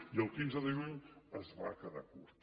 i el quinze de juny es va quedar curt